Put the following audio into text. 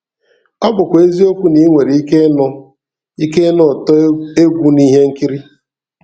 Ọ bụkwa eziokwu na i nwere ike ịnụ ike ịnụ ụtọ egwu na ihe nkiri.